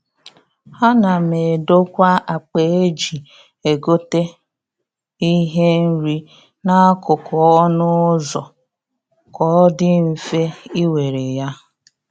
A na m edokwa akpa eji egote ihe nri n'akụkụ ọnụ ụzọ ka ọ dị mfe ị were ya.